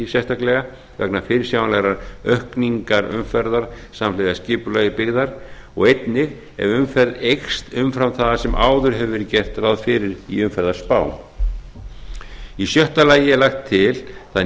sérstaklega vegna fyrirsjáanlegrar aukningar umferðar samhliða skipulag byggðar og einnig ef umferð eykst umfram það sem áður hefur verið gert ráð fyrir í umferðarspám í sjötta lagi er lagt til það